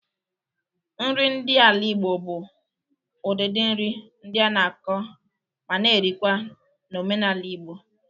Nri ndị ala Igbo bụ udịdị nri ndị a na-akọ ma na erikwa na omenala Igbo.